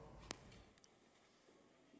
det